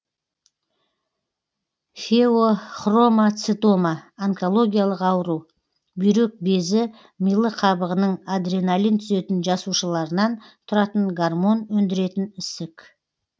фео хромо цитома онкологиялық ауру бүйрек безі мыйлы қабығының адреналин түзетін жасушаларынан тұратын гормон өндіретін ісік